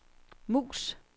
mus